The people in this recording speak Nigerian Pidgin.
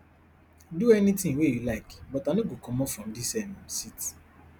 do anytin wey you like but i no go comot from dis um seat